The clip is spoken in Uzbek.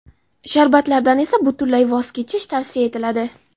Sharbatlardan esa butunlay voz kechish tavsiya etiladi.